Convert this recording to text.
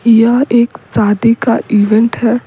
यह एक शादी का इवेंट है।